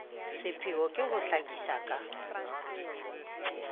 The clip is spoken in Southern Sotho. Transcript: pheo ke ho hlakisa ka